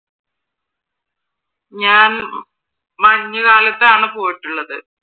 ഞാൻ മഞ്ഞു കാലത്താണ് പോയിട്ടുള്ളത്.